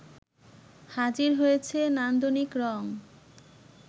হাজির হয়েছে নান্দনিক রং